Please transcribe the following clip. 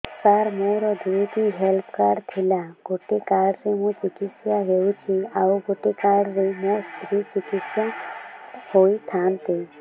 ସାର ମୋର ଦୁଇଟି health card ଥିଲା ଗୋଟେ କାର୍ଡ ରେ ମୁଁ ଚିକିତ୍ସା ହେଉଛି ଆଉ ଗୋଟେ କାର୍ଡ ରେ ମୋ ସ୍ତ୍ରୀ ଚିକିତ୍ସା ହୋଇଥାନ୍ତେ